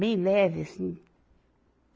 Bem leve, assim.